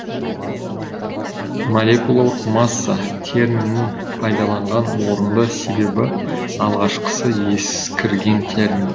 молекулалық масса терминін пайдаланған орынды себебі алғашқысы ескірген термин